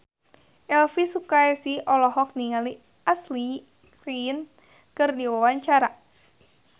Elvi Sukaesih olohok ningali Ashley Greene keur diwawancara